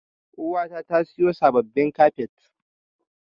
Uwata ta siyo sabbabin kafet.